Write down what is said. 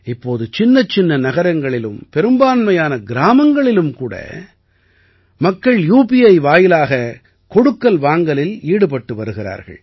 இப்போது சின்னச்சின்ன நகரங்களிலும் பெரும்பான்மையான கிராமங்களிலும் கூட மக்கள் யூபிஐ வாயிலாக கொடுக்கல் வாங்கலில் ஈடுபட்டு வருகிறார்கள்